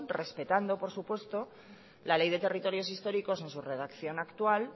respetando por supuesto la ley de territorios históricos en su redacción actual